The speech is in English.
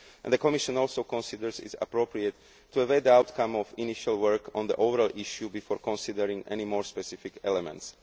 initiative. The Commission also considers it appropriate to weigh the outcome of initial work on the overall issue before considering any more specific